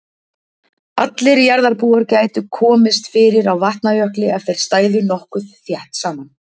Allir jarðarbúar gætu komist fyrir á Vatnajökli ef þeir stæðu nokkuð þétt saman.